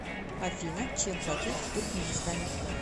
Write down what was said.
афина чем платить в туркменистане